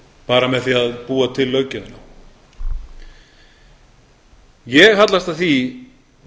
bara með því að búa til löggjöfina ég hallast að því